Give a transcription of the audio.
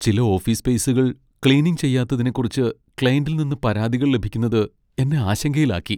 ചില ഓഫീസ് സ്പേസുകൾ ക്ലീനിംഗ് ചെയ്യാത്തതിനെക്കുറിച്ച് ക്ലയന്റിൽ നിന്ന് പരാതികൾ ലഭിക്കുന്നത് എന്നെ ആശങ്കയിലാക്കി.